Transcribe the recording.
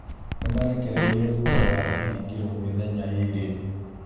Nĩmarekereirio thutha wa kũhingĩrĩrio mĩthenya ĩrĩ